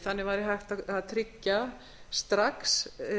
þannig væri hægt að tryggja strax